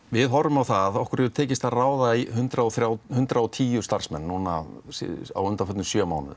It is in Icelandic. við horfum á það að okkur hefur tekist að ráða hundrað og hundrað og tíu starfsmenn á undanförnum sjö mánuðum